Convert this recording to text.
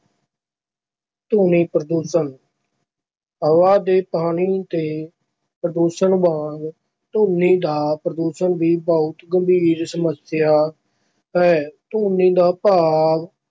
ਧੁਨੀ ਪ੍ਰਦੂਸ਼ਣ ਹਵਾ ਤੇ ਪਾਣੀ ਦੇ ਪ੍ਰਦੂਸ਼ਣ ਵਾਂਗ ਧੁਨੀ ਦਾ ਪ੍ਰਦੂਸ਼ਣ ਵੀ ਬਹੁਤ ਗੰਭੀਰ ਸਮੱਸਿਆ ਹੈ, ਧੁਨੀ ਦਾ ਭਾਵ